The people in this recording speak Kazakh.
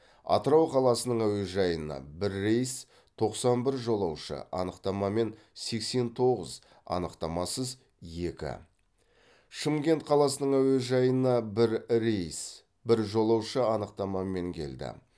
атырау қаласының әуежайына бір рейс тоқсан бір жолаушы анықтамамен сексен тоғыз анықтамасыз екі шымкент қаласының әуежайына бір рейс бір жолаушы анықтамамен келді